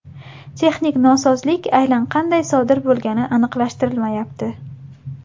Texnik nosozlik aynan qanday sodir bo‘lgani aniqlashtirilmayapti.